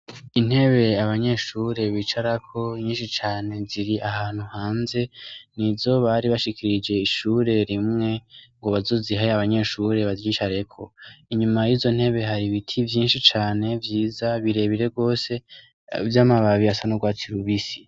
Intebe abanyeshure bicarako nyinshi cane, ziri ahantu hanze. N' izo bari bashikirije ishure rimwe ngo bazozihe abanyeshure bazicareko. Inyuma y' izo ntebe, hari ibiti vyinshi cane vyiza birebire gose, vy' amababi asa n'urwatsi rubisi .